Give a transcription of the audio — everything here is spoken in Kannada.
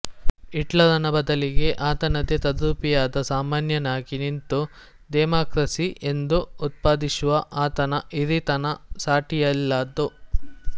ಹಿಟ್ಲರನ ಬದಲಿಗೆ ಆತನದೇ ತದ್ರೂಪಿಯಾದ ಸಾಮಾನ್ಯನಾಗಿ ನಿಂತು ಡೆಮಾಕ್ರಸಿ ಎಂದು ಉದ್ಘೋಶಿಸುವ ಆತನ ಹಿರೀತನ ಸಾಟಿಯಿಲ್ಲದ್ದು